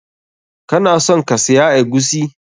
Kana son ka siya eguisi?